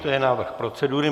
To je návrh procedury.